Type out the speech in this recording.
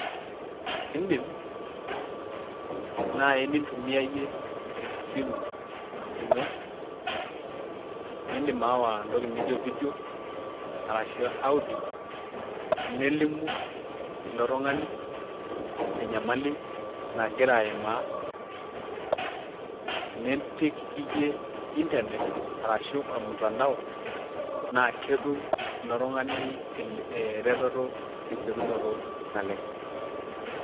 idim naai nitumia iyie esimu ino. idim aawa entoki naijo vedio arashu audio. nelimu ilo tungani enyamali nagira aimaa, nipik iyie inernet arashu ormutandao, naa ketum ilo tungani eretoto tesiokinoto. naleng'.